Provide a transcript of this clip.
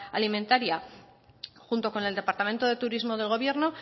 alimentaria junto con el departamento de turismo del gobierno